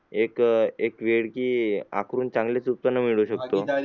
एक एक वेळ की आकारून चांगलेच उत्पन्न मिळवू शकतो